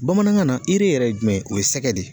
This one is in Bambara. Bamanankan na yɛrɛ ye jumɛn ye o ye sɛgɛ de ye.